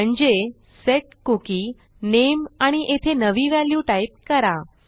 म्हणजे set cookie name आणि येथे नवी व्हॅल्यू टाईप करा